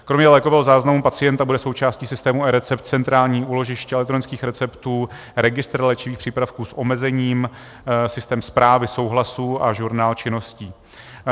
Kromě lékového záznamu pacienta bude součástí systému eRecept centrální úložiště elektronických receptů, registr léčivých přípravků s omezením, systém správy souhlasů a žurnál činností.